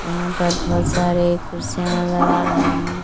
यहां पर बहोत सारे कुर्सियां नजर आ रहे हैं।